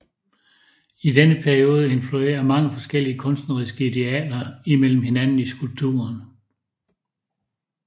I denne periode influerer mange forskellige kunstneriske idealer imellem hinanden i skulpturen